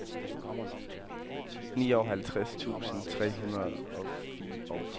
nioghalvtreds tusind tre hundrede og fireogfyrre